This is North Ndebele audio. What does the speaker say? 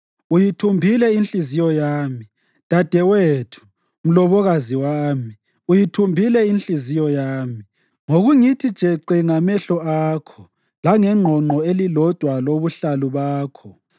Uyithumbile inhliziyo yami, dadewethu, mlobokazi wami; uyithumbile inhliziyo yami ngokungithi jeqe ngamehlo akho, langengqongqo elilodwa lobuhlalu bakho.